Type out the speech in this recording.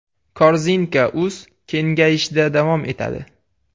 Korzinka.uz kengayishda davom etadi!